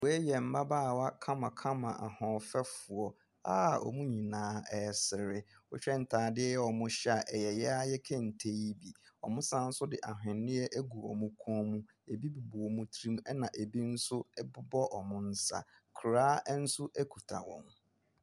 Wei yɛ mmabaawa kamakama ahoɔfɛfoɔ a wɔn nyinaa resere. Wɔhwɛ ntaare a wɔhyɛ a ɛyɛ yɛn ara yɛn kente no bi. Wɔasane de ahwenneɛ ago wɔn kɔnmu, ebi bobɔ wɔn tiri mu ɛna ebi nso bobɔ wɔn nsa. Koraa nso kuta wɔn.